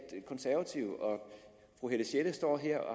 konservative og fru helle sjelle står her